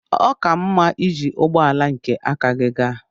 Ọ ka mma iji ụgbọ ala nke aka gị gaa.